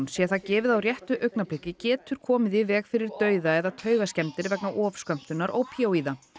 sé það gefið á réttu augnabliki getur komið í veg fyrir dauða eða vegna ofskömmtunar ópíóíða